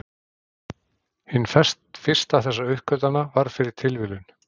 Hin fyrsta þessara uppgötvana varð fyrir tilviljun.